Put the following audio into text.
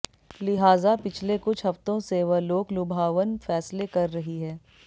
लिहाज़ा पिछले कुछ हफ़्तों से वह लोकलुभावन फ़ैसले कर रही है